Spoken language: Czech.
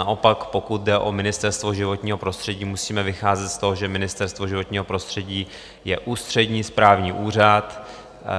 Naopak, pokud jde o Ministerstvo životního prostředí, musíme vycházet z toho, že Ministerstvo životního prostředí je ústřední správní úřad,